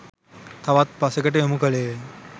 තවත් පසෙකට යොමු කළේය.